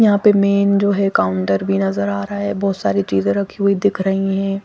यहां पे मेन जो है काउंटर भी नजर आ रहा है बहोत सारी चीजें रखी हुई दिख रही हैं।